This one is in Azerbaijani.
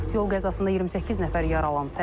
Yol qəzasında 28 nəfər yaralanıb.